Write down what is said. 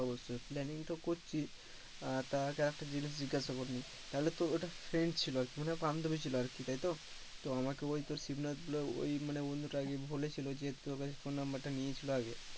অবশ্যই planning তো করছি আহ তা আর একটা জিনিস জিজ্ঞাসা করে নি, তাহলে তোর ওটা friend ছিল আর কি মানে বান্ধবী ছিল আরকি তাই তো তো আমাকে ওই তোর ওই বন্ধু তা আরকি বলেছিলো তোর কাছে phone number টা নিয়েছিল আগে,